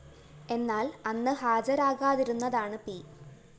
എന്നാല്‍ അന്ന് ഹാജരാകാതിരുന്നതാണ് പി